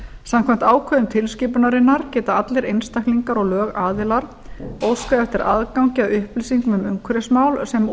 samkvæmt ákvörðun tilskipunarinnar geta allir einstaklingar og lögaðilar óskað eftir aðgangi að upplýsingum um umhverfismál sem